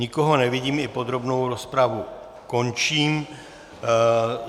Nikoho nevidím, i podrobnou rozpravu končím.